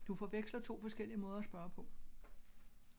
Du forveksler 2 forskellige måder at spørge på